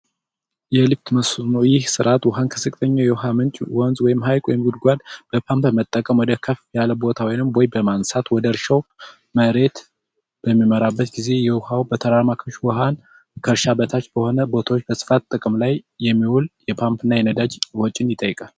የልክ መስኖ ይህ ሥርዓት ውሃን ከፍተኛ የውሃ ምንጭ ሀይቅ ወይም ጉድጓድ ፓምፕ በመጠቀም ከፍ ያለ ቦታ ወይም በማንሳት ወደ እርሻው መሬት በሚመራበት ጊዜ የውኃው በተራራማ ክፍተቶች መሃል ከእርሻ በታች በሆነ ቦታዎች በስፋት ጥቅም ላይ የሚውል የፓምፕ እና የነዳጅ ወጪ ይጠይቃል።